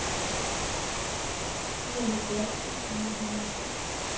fireoghalvfjerds tusind ni hundrede og tres